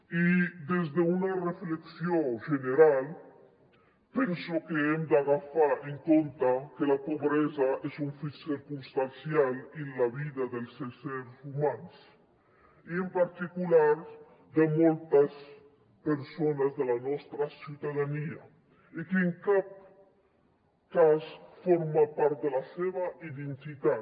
i des d’una reflexió general penso que hem de tenir en compte que la pobresa és un fet circumstancial en la vida dels éssers humans i en particular de moltes persones de la nostra ciutadania i que en cap cas forma part de la seva identitat